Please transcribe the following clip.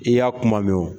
I y'a kuma mɛn o